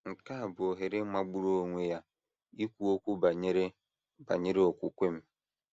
Nke a bụ ohere magburu onwe ya ikwu okwu banyere banyere okwukwe m! ’